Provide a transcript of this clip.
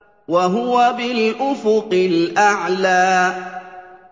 وَهُوَ بِالْأُفُقِ الْأَعْلَىٰ